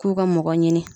K'u ka mɔgɔ ɲini